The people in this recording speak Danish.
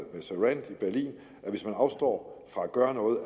surrend i berlin at hvis man afstår fra at gøre noget